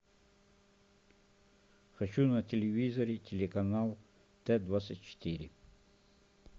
хочу на телевизоре телеканал т двадцать четыре